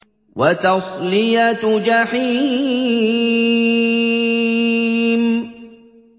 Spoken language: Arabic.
وَتَصْلِيَةُ جَحِيمٍ